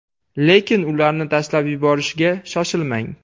Lekin ularni tashlab yuborishga shoshilmang.